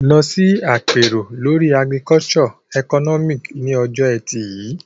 Lọ sí àpérò lórí Agricultural Economics ní ọjọ́ Ẹtì yìí.